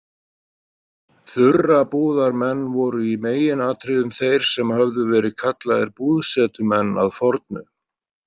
Þurrabúðarmenn voru í meginatriðum þeir sem höfðu verið kallaðir búðsetumenn að fornu.